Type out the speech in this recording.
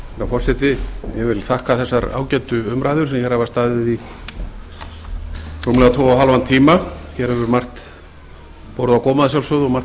ég vil þakka þessar ágætu umræður sem hér hafa staðið í rúmlega tvo og hálfan tíma hér hefur margt borið á góma að sjálfsögðu og margt